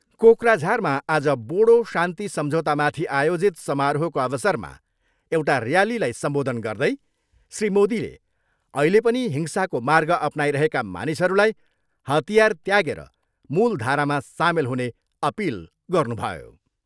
कोक्राझारमा आज बोडो शान्ति सम्झौतामाथि आयोजित समारोहको अवसरमा एउटा ऱ्यालीलाई सम्बोधन गर्दै श्री मोदीले अहिले पनि हिंसाको मार्ग अपनाइरहेका मानिसहरूलाई हतियार त्यागेर मूलधारामा सामेल हुने अपिल गर्नुभयो।